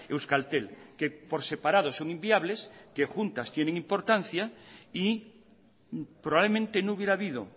euskaltel que por separado son inviables que juntas tienen importancia y probablemente no hubiera habido